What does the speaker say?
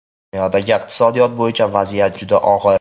Dunyoda iqtisodiyot bo‘yicha vaziyat juda og‘ir.